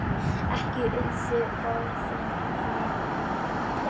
Ekki urðu orðin fleiri.